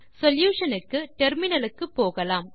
solution க்கு terminal க்கு போகலாம்